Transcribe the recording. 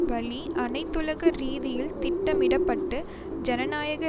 வழி அனைத்துலக ரீதியில் திட்டமிட பட்டு ஜனநாயக